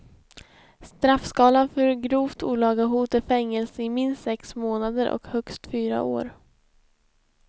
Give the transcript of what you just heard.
Straffskalan för grovt olaga hot är fängelse i minst sex månader och högst fyra år.